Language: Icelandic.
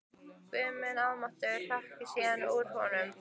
Guð minn almáttugur hrökk síðan út úr honum.